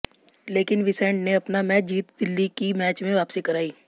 लेकिन विसेंट ने अपना मैच जीत दिल्ली की मैच में वापसी कराई